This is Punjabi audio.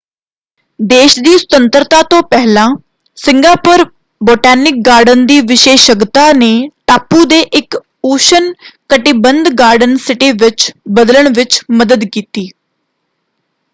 ਦੇਸ਼ ਦੀ ਸੁਤੰਤਰਤਾ ਤੋਂ ਪਹਿਲਾਂ ਸਿੰਗਾਪੁਰ ਬੋਟੈਨਿਕ ਗਾਰਡਨ ਦੀ ਵਿਸ਼ੇਸ਼ੱਗਤਾ ਨੇ ਟਾਪੂ ਦੇ ਇੱਕ ਉਸ਼ਣ-ਕਟਿਬੰਧ ਗਾਰਡਨ ਸਿਟੀ ਵਿੱਚ ਬਦਲਣ ਵਿੱਚ ਮਦਦ ਕੀਤੀ।